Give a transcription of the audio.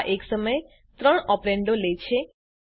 આ એક સમયે ત્રણ ઓપરેન્ડો લે છે